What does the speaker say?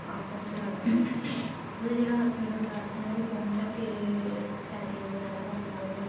ਆਪਸ ਵਿੱਚ ਲੜਣ ਉਹਦਾ ਜਿਹੜਾ husband ਹੁੰਦਾ ਆ ਅਰਜੁਨ ਉਹ ਫੋਨ ਚੱਕ ਕੇ typing ਵਗੈਰਾ ਕਰਨ ਲੱਗ ਜਾਂਦਾ ਆ